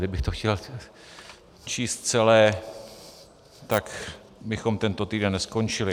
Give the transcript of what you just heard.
Kdybych to chtěl číst celé, tak bychom tento týden neskončili.